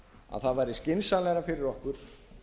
að það væri skynsamlegra fyrir okkur